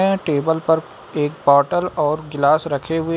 यह टेबल पर एक बॉटल और गिलास रखे हुए।